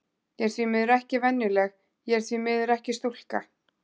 Ég er því miður ekki venjuleg, og ég er því miður ekki stúlka.